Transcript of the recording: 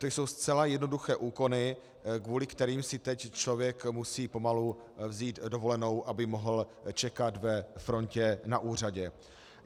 To jsou zcela jednoduché úkony, kvůli kterým si teď člověk musí pomalu vzít dovolenou, aby mohl čekat ve frontě na úřadě.